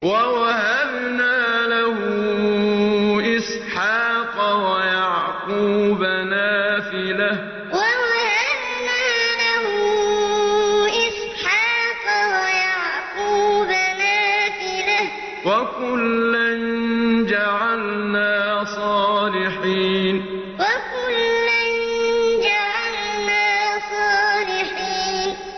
وَوَهَبْنَا لَهُ إِسْحَاقَ وَيَعْقُوبَ نَافِلَةً ۖ وَكُلًّا جَعَلْنَا صَالِحِينَ وَوَهَبْنَا لَهُ إِسْحَاقَ وَيَعْقُوبَ نَافِلَةً ۖ وَكُلًّا جَعَلْنَا صَالِحِينَ